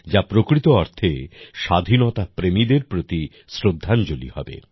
যা প্রকৃত অর্থে স্বাধীনতা প্রেমীদের প্রতি শ্রদ্ধাঞ্জলি হবে